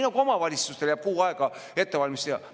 Omavalitsustele jääb kuu aega ettevalmistuseks.